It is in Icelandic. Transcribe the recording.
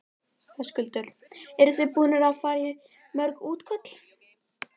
Höskuldur: Eru þið búin að fara í mörg útköll?